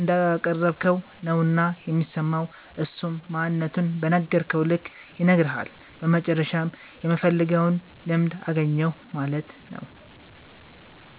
እንዳቀረብከዉ ነዉና የሚሰማዉ እሱም ማንነቱን በነገርከዉ ልክ ይነግርሀል በመጨረሻም የምፈልገዉን ልምድ አገኛለሁ ማለት ነዉ።